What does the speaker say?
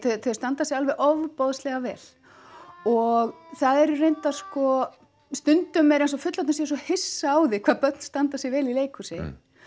þau standa sig alveg ofboðslega vel og það eru reyndar sko stundum er eins og fullorðnir séu svo hissa hvað börn standa sig vel í leikhúsi